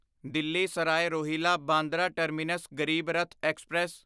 Delhi Sarai Rohilla Bandra terminus Garib Rath express